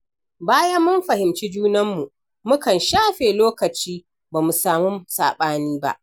Bayan mun fahimci junanmu, mukan shafe lokaci ba mu samu saɓani ba.